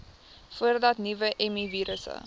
voordat nuwe mivirusse